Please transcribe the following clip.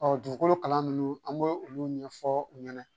Ɔ dugukolo kalan ninnu an b'o olu ɲɛfɔ u ɲɛna